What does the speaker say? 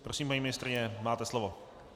Prosím, paní ministryně, máte slovo.